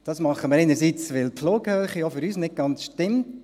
Das machen wir einerseits, weil die Flughöhe auch für uns nicht ganz stimmt.